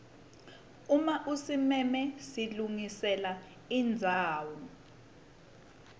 uma usimeme silungiselwa indzawo